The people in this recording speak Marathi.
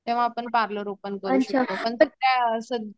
तेंव्हा आपण पार्लर ओपन करू शकतो नंतर त्या